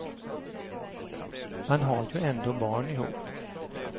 Man har ju ändå barn ihop.